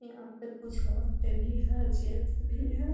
यहाँ पे कुछ औरते भी हैं जेंट्स भी है |